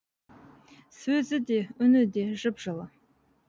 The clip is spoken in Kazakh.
сөзі де үні де жып жылы